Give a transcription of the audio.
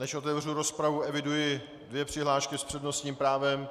Než otevřu rozpravu, eviduji dvě přihlášky s přednostním právem.